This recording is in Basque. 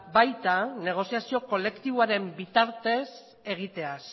baita negoziazio kolektiboaren bitartez egiteaz